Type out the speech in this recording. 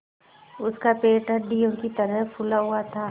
उसका पेट हंडिया की तरह फूला हुआ था